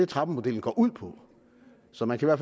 trappemodellen går ud på så man kan